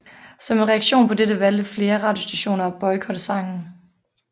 Som en reaktion på dette valgte flere radiostationer at boykotte sangen